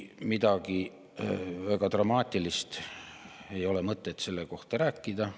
Midagi väga dramaatilist ei ole siiski mõtet selle kohta rääkida.